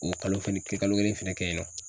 O kalo kelen, kalo kelen fɛnɛ kɛ yen nɔ.